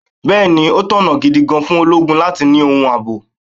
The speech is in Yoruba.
Bẹẹni, ó tọ̀nà gidi gan-an fún ológun láti ni ohun ààbò.